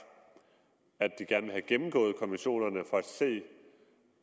at de gerne ville have gennemgået konventionerne for at se